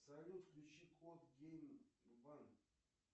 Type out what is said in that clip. салют включи код гейм ван